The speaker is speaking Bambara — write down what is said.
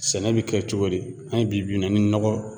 Sɛnɛ bi kɛ cogo di? An ye bi bi in na ni nɔgɔ